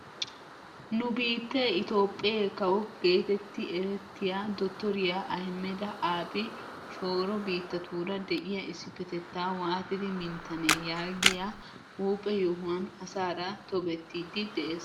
nu biittee itoophphee kawo getetti erettiyaa dottoriyaa ahimeda aabi shooro biittatuura de'iyaa issipetettaa waatidi minttanee yaagiyaa huuphphe yohuwaan asaara tobettiidi de'ees.